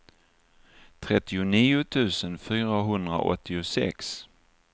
trettionio tusen fyrahundraåttiosex